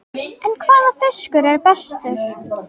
En hvaða fiskur er bestur?